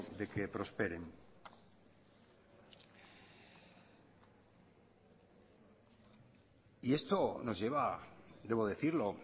de que prosperen y esto nos lleva debo decirlo